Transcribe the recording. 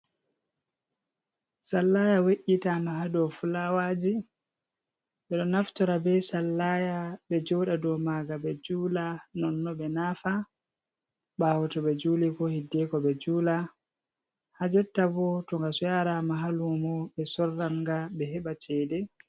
Sallaya we’’ita ma ha dou fulawaji, ɓe ɗo naftora be sallaya ɓe joɗa dou maga ɓe jula, nonno ɓe nafa ɓawo to ɓe juli ko hiddeko ɓe jula, hajotta bo to nga so yara ma ha lumo ɓe sorranga ɓe heɓa cede.